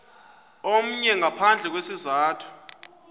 omnye ngaphandle kwesizathu